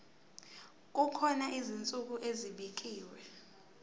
kukhona izinsuku ezibekiwe